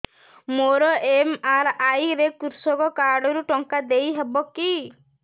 ମୋର ଏମ.ଆର.ଆଇ ରେ କୃଷକ କାର୍ଡ ରୁ ଟଙ୍କା ଦେଇ ହବ କି